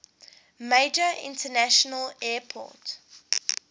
major international airport